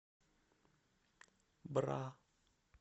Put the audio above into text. бра